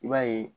I b'a ye